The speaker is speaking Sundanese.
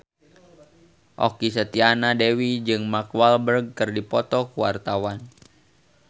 Okky Setiana Dewi jeung Mark Walberg keur dipoto ku wartawan